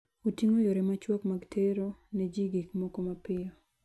Oting'o yore machuok mag tero ne ji gik moko mapiyo.